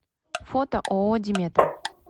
фото ооо диметра